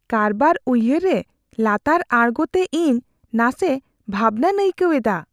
ᱠᱟᱨᱵᱟᱨ ᱩᱭᱦᱟᱹᱨ ᱨᱮ ᱞᱟᱛᱟᱨ ᱟᱬᱜᱳ ᱛᱮ ᱤᱧ ᱱᱟᱥᱮ ᱵᱷᱟᱵᱽᱱᱟᱧ ᱟᱹᱭᱠᱟᱹᱣ ᱮᱫᱟ ᱾